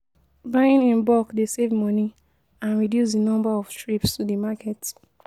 Buying in bulk dey save money and reduce di number of trips to di market.